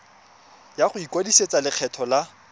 ya go ikwadisetsa lekgetho la